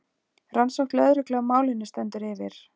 Rannsókn lögreglu á málinu stendur yfir